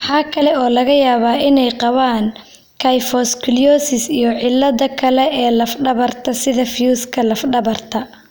Waxa kale oo laga yaabaa inay qabaan kyphoscoliosis iyo ciladaha kale ee laf dhabarta, sida fiyuuska laf dhabarta.